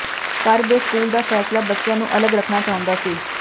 ਘਰ ਦੇ ਸਕੂਲ ਦਾ ਫੈਸਲਾ ਬੱਚਿਆਂ ਨੂੰ ਅਲੱਗ ਰੱਖਣਾ ਚਾਹੁੰਦਾ ਸੀ